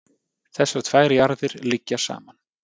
Þessar tvær jarðir liggja saman.